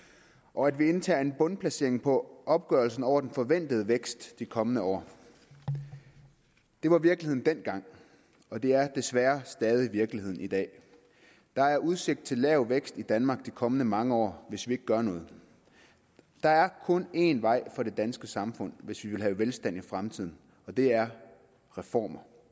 og at vi indtager en bundplacering på opgørelsen over den forventede vækst i de kommende år det var virkeligheden dengang og det er desværre stadig virkeligheden i dag der er udsigt til lav vækst i danmark de kommende mange år hvis vi ikke gør noget der er kun én vej for det danske samfund hvis vi vil have velstand i fremtiden og det er reformer